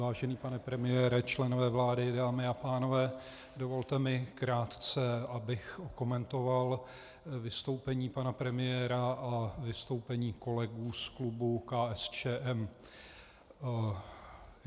Vážený pane premiére, členové vlády, dámy a pánové, dovolte mi krátce, abych okomentoval vystoupení pana premiéra a vystoupení kolegů z klubu KSČM.